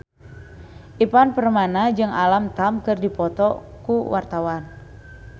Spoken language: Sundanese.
Ivan Permana jeung Alam Tam keur dipoto ku wartawan